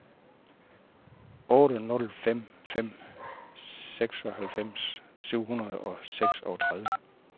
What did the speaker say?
otte nul fem fem seksoghalvfems syv hundrede og seksogtredive